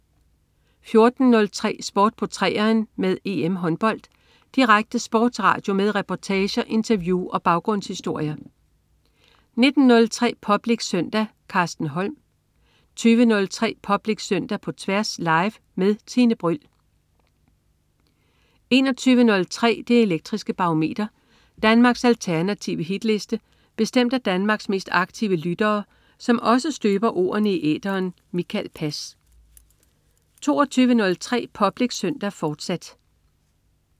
14.03 Sport på 3'eren med EM-håndbold. Direkte sportsradio med reportager, interview og baggrundshistorier 19.03 Public Søndag. Carsten Holm 20.03 Public Søndag på Tværs. Live-Tværs med Tine Bryld 21.03 Det elektriske Barometer. Danmarks alternative hitliste bestemt af Danmarks mest aktive lyttere, som også støber ordene i æteren. Mikael Pass 22.03 Public Søndag, fortsat